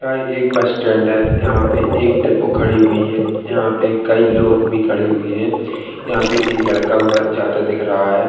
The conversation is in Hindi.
यह एक बस-स्टैंड है। यहाँ पे एक डिपो खड़ी हुई है। यहाँ पे कई लोग भी खड़े हुए हैं। यहाँ पे एक लड़का हुआ जाता दिख रहा है।